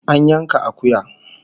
An yanka akuya